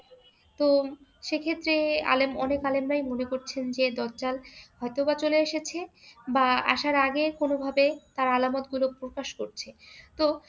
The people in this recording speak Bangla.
তো সেক্ষেত্রে আলেম অনেক আলেমরাই মনে করছেন যে দাজ্জাল হয়ত বা চলে এসেছে বা আসার আগে কোনোভাবে আলামতগুলো প্রকাশ পাচ্ছে। তো